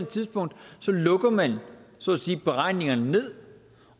tidspunkt lukker man så at sige beregningerne ned